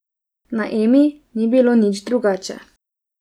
Na Emi ni bilo nič drugače.